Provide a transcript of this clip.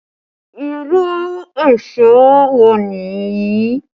Irú èṣó wo ni èyí?